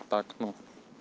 так ну